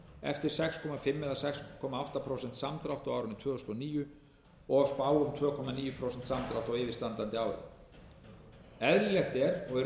eftir sex og hálft til sex komma átta prósent samdrátt á árinu tvö þúsund og níu og spá um tvö komma níu prósent samdrátt á yfirstandandi ári eðlilegt er